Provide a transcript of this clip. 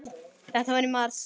Þetta var í mars.